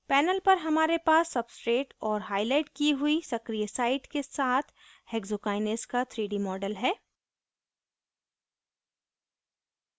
panel पर हमारे पास substrate और हाईलाइट की हुई सक्रिय site के साथ hexokinase का 3d model है